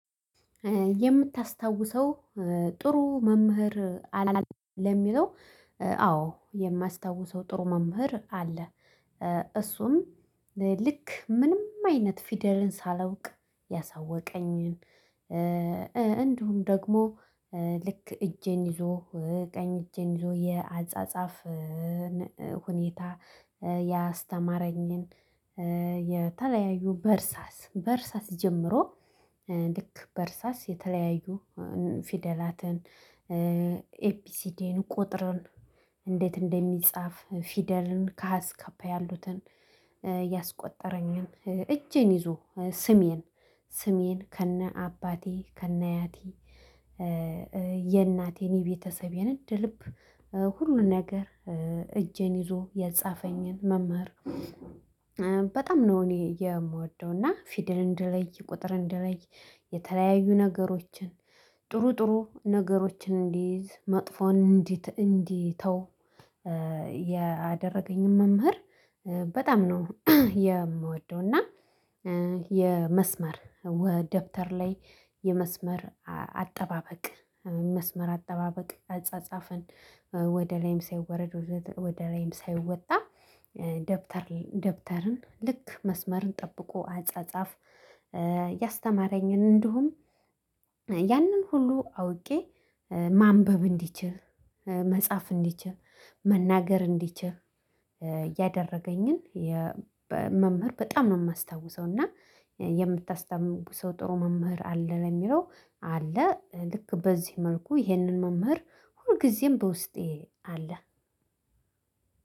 የምታስታውሰው ጥሩ መምህር አለ ለሚለው? አዎ የማስታውሰው ጥሩ መምህር አለ። እሱም ልክ ምንም አይነት ፊደልን ሳላውቅ ያሳወቀኝን። እንዲሁም ደግሞ ልክ እጄን ይዞ ቀኝ እጄን ይዞ የአጻጻፍን ሁኔታ ያስተማረኝን። የተለያዩ በርሳስ በርሳስ ጀምሮ ልክ በርሳስ የተለያዩ ፊደላትን። ኤቢሲዲን ቁጥርን እንዴት እንደሚጻፍ ፊደልን ከሀ እስከ ፐ ያሉትን ያስቆጠረኝን እጄን ይዞ ስሜን ስሜን ከነ አባቴ ከነ አያቴ። የእናቴን የቤተሰቤን እንደልብ ሁሉን ነገር እጄን ይዞ ያጻፈኝን መምህር። በጣም ነው እኔ የምወደው እና ፊድል እንደለይ ቁጥር እንደለይ። የተለያዩ ነገሮችን ጥሩ ጥሩ ነገሮችን እንዲይዝ መጥፎን እንድተው ያደረገኝን መምህር። በጣም ነው የምወደው እና የመስመር ወ ደብተር ላይ የመስመር አጠባበቅ መስመር አጠባበቅ አጻጻፍን ወደ ላይም ሳይወረድ ወደ ላይም ሳይወጣ። ደብተርን ልክ መስመርን ጠብቆ አጻጻፍ ያስተማረኝን። እንደውም ያንን ሁሉ አውቄ ማንበብ እንድችል መጻፍ እንድችል መናገር እንድችል እ ያደረገኝን። መምህር በጣም ነው የማስታውሰው። እና የምታስተምሩ ሰው ጥሩ መምህር አለ ለሚለው? አለ ልክ በዚህ መልኩ ይህንን መምህር ሁልጊዜም በውስጤ አለ።